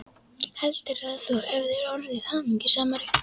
Heldurðu, að þú hefðir orðið hamingjusamari?